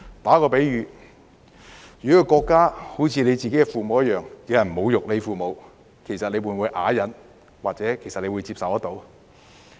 作個比喻，國家猶如自己的父母，若有人侮辱你的父母，你會否啞忍或接受？